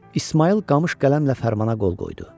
İsmayıl qamış qələmlə fərmana qol qoydu.